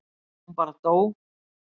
Hún bara dó.